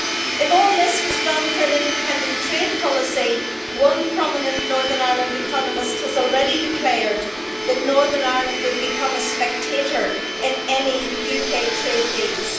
If all this was done for an independent trade policy, one prominent Northern Ireland economist has already declared that Northern Ireland would become a spectator in any UK trade deals.